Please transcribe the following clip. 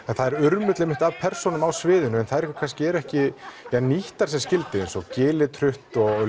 það er urmull einmitt að persónum á sviðinu en þær kannski eru ekki nýttar sem skildi eins og Gilitrutt og